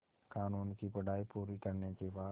क़ानून की पढा़ई पूरी करने के बाद